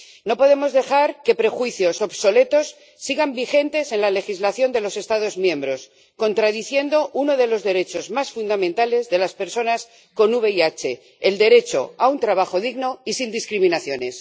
No podemos dejar que prejuicios obsoletos sigan vigentes en la legislación de los Estados miembros, contradiciendo uno de los derechos más fundamentales de las personas con VIH el derecho a un trabajo digno y sin discriminaciones.